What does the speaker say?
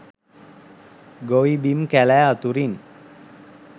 ගොවි බිම් කැලෑ අතුරින්